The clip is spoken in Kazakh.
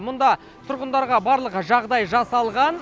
мұнда тұрғындарға барлық жағдай жасалған